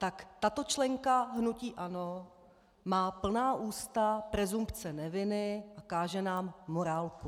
Tak tato členka hnutí ANO má plná ústa presumpce neviny a káže nám morálku.